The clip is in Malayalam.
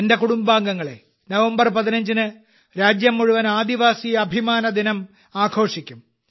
എന്റെ കുടുംബാംഗങ്ങളെ നവംബർ 15 ന് രാജ്യം മുഴുവൻ ആദിവാസി അഭിമാന ദിനം ആഘോഷിക്കും